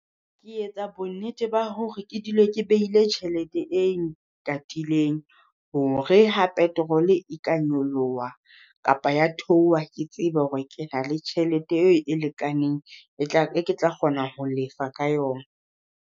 Ke etsa bonnete ba hore ke dule ke behile tjhelete e katileng, hore ha petrol e ka nyoloha kapa ya theoha, ke tsebe hore ke na le tjhelete e lekaneng e ketla kgona ho lefa ka yona.